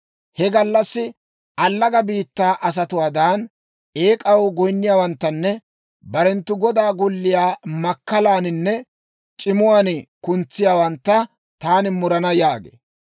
He gallassi allaga biittaa asatuwaadan, eek'aw goyinniyaawanttanne barenttu godaa golliyaa makkalaaninne c'imuwaan kuntsiyaawantta taani murana» yaagee.